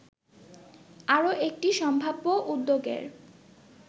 আরও একটি সম্ভাব্য উদ্যোগের